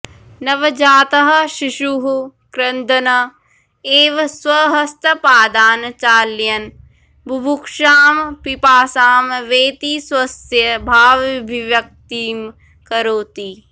नवजातः शिशुः क्रन्दन् एव स्वहस्तपादान् चालयन् बुभुक्षां पिपासां वेति स्वस्य भावभिव्यक्तिं करोति